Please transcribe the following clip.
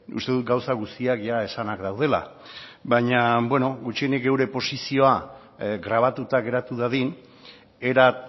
uste dut gauza guztiak esanak daudela baina beno gutxienik gure posizioa grabatuta geratu dadin era